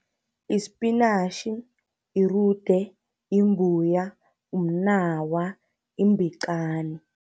Yispinatjhi, irude, imbuya, umnawa, imbiqani